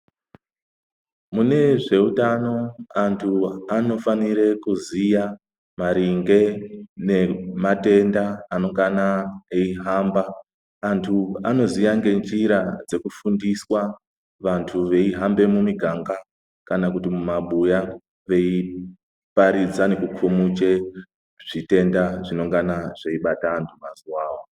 Munezveutano anhu anofana kuziya maringe ngematenda anongane eihamba antu anoziya ngenjira dzekufundiswa antu eyi hamba mumiganga kana kuti mumabuya vei paridza ngekukumuche zvitenda zvinenge zveyi bata antu mazuva awawo